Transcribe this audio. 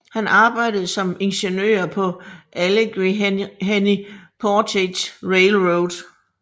Han arbejdede som ingeniør på Allegheny Portage Railroad